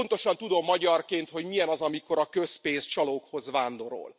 Pontosan tudom magyarként, hogy milyen az, amikor a közpénz csalókhoz vándorol.